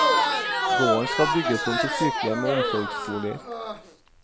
Gården skal bygges om til sykehjem og omsorgsboliger.